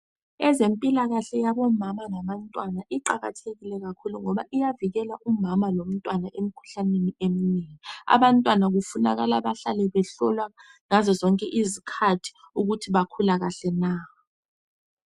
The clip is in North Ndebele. Ezempilakahle yabomama labantwana iqakathekile kakhulu ngoba iyavikela umama lomntwana emkhuhlaneni eminengi, abantwana kufunakala bahlale behlolwa ngazo zonke izikhathi ukuthi bakhula kahle na.